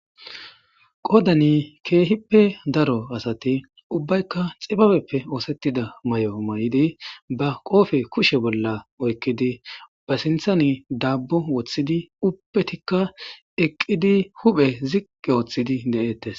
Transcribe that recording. qodani keehippe daro asati ubbaykka xibabeppe oosettida mayo mayidi ba qoofe kushe bolla oykkidi ba sinthan daabbo woththidi uppetikka eqqidi huphe ziqqe ooththidi de'ettes